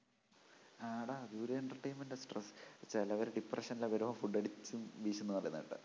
ആടാ അതും ഒരു entertainment of stress ചെലവര് depression ന് എല്ലാം വരുമ്പോ food അടിച്ചും വീശുന്ന് പറയുന്ന കേട്ടാ